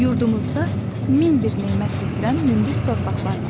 Yurdumuzda min bir nemət yetirən münbit torpaqlar var.